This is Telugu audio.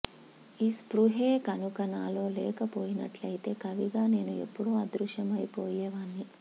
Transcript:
ఈ స్పృహే కనుక నాలో లేక పోయినట్టయితే కవిగా నేను ఎప్పుడో అదృశ్యమైపోయేవాణ్ణి